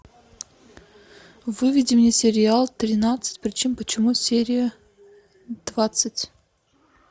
выведи мне сериал тринадцать причин почему серия двадцать